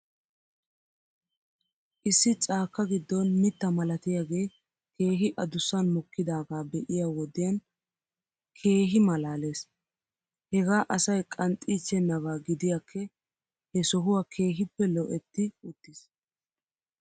Issi caakka giddon mitta malatiyaagee keehi adussan mokkidaagaa be'iyaa wodiyan keehi malaales. Hegaa asay qanxxiichchenaba gidiyaakke he sohuwaa keehippe lo'etti uttis.